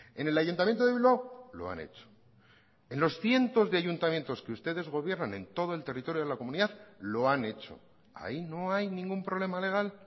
en el ayuntamiento de bilbao lo han hecho en los cientos de ayuntamientos que ustedes gobiernan en todo el territorio de la comunidad lo han hecho ahí no hay ningún problema legal